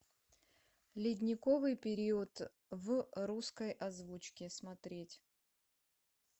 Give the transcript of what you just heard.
ледниковый период в русской озвучке смотреть